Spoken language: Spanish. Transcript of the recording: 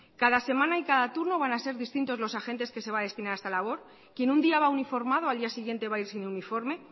cada semana y cada turno van a ser distintos los agentes que se va a destinar a esta labor quién un día va uniformado al día siguiente va a ir sin uniforme